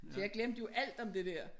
Så jeg glemte jo alt om det der